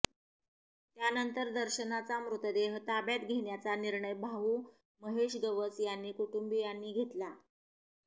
त्यानंतर दर्शनाचा मृतदेह ताब्यात घेण्याचा निर्णय भाऊ महेश गवस आणि कुटुंबियांनी घेतला